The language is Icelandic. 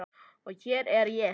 Og hér er ég.